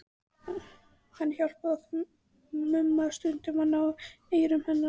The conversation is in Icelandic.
Og hann hjálpaði okkur Mumma stundum að ná eyrum hennar.